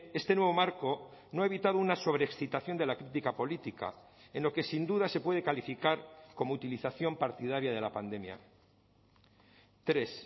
este nuevo marco no ha evitado una sobreexcitación de la crítica política en lo que sin duda se puede calificar como utilización partidaria de la pandemia tres